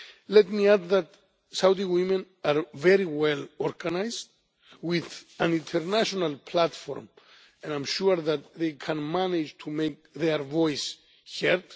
Let me add that Saudi women are very well organised and, with an international platform, I am sure that they can manage to make their voice heard.